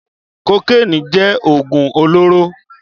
Kókéni jẹ̀ ógún olóró